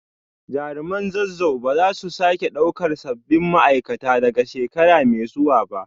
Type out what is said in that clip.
Jaruman Zazzau ba za su sake daukar sabbin ma’aikata daga shekara mai zuwa ba